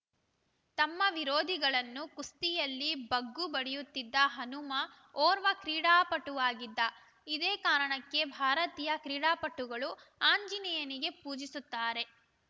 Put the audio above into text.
ತಮ್ಮ ವಿರೋಧಿಗಳನ್ನು ಕುಸ್ತಿಯಲ್ಲಿ ಬಗ್ಗುಬಡಿಯುತ್ತಿದ್ದ ಹನುಮ ಓರ್ವ ಕ್ರೀಡಾಪಟುವಾಗಿದ್ದ ಇದೇ ಕಾರಣಕ್ಕೆ ಭಾರತೀಯ ಕ್ರೀಡಾಪಟುಗಳು ಆಂಜನೇಯನಿಗೆ ಪೂಜಿಸುತ್ತಾರೆ